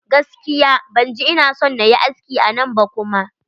Gaskiya ban ji ina son nayi aski a nan ba kuma.